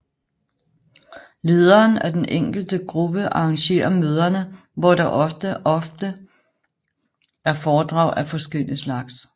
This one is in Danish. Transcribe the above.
Lederen af den enkelte gruppe arrangerer møderne hvor der også ofte er foredrag af forskellig slags